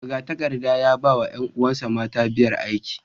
Magatakardar ya ba wa ’yan’uwansa mata biyar aiki